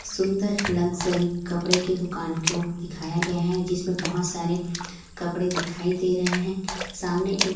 सुंदर लग्जरी कपड़े के दुकान को दिखाया गया है जिसमें बहुत सारे कपड़े दिखाई दे रहे हैं सामने एक--